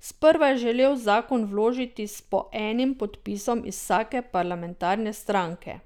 Sprva je želel zakon vložiti s po enim podpisom iz vsake parlamentarne stranke.